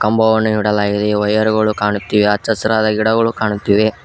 ಕಂಬವನ್ನು ನೆಡಲಾಗಿದೆ ವೈರ್ ಗಳು ಕಾಣುತ್ತಿವೆ ಹಚ್ಚ ಹಸುರಾದ ಗಿಡಗಳು ಕಾಣುತ್ತಿವೆ.